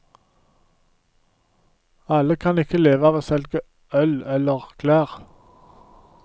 Alle kan ikke leve av å selge øl eller klær.